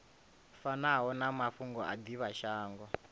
fanaho na mafhungo a divhashango